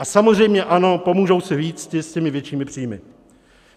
A samozřejmě ano, pomůžou si víc ti s těmi většími příjmy.